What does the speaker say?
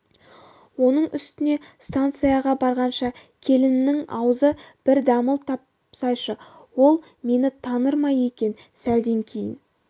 оның үстіне станцияға барғанша келінімнің аузы бір дамыл тапсайшы ол мені таныр ма екен сәлден кейін